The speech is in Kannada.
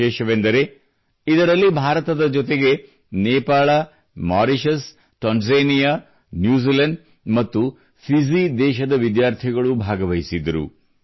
ವಿಶೇಷವೆಂದರೆ ಇದರಲ್ಲಿ ಭಾರತದ ಜೊತೆಗೆ ನೇಪಾಳ ಮಾರಿಷಿಯಸ್ ತಾಂಜೇನಿಯಾ ನ್ಯೂಜಿಲೆಂಡ್ ಮತ್ತು ಫಿಜಿ ದೇಶದ ವಿದ್ಯಾರ್ಥಿಗಳೂ ಭಾಗವಹಿಸಿದ್ದರು